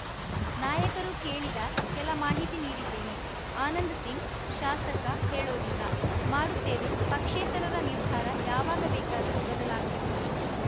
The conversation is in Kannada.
ನಾಯಕರು ಕೇಳಿದ ಕೆಲ ಮಾಹಿತಿ ನೀಡಿದ್ದೇನೆ ಆನಂದ್‌ ಸಿಂಗ್‌ ಶಾಸಕ ಹೇಳೋದಿಲ್ಲ ಮಾಡುತ್ತೇವೆ ಪಕ್ಷೇತರರ ನಿರ್ಧಾರ ಯಾವಾಗ ಬೇಕಾದರೂ ಬದಲಾಗಬಹುದು